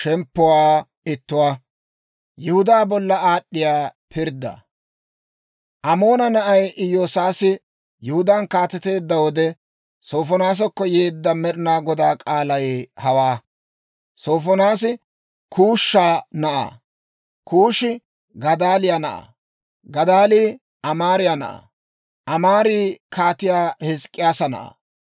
Amoona na'ay Iyoosiyaasi Yihudaan kaateteedda wode Sofonaasakko yeedda Med'inaa Godaa k'aalay hawaa. Sofonaasi Kuusha na'aa; Kuushi Gadaaliyaa na'aa; Gadaalii Amaariyaa na'aa; Amaari kaatiyaa Hizk'k'iyaasa na'aa.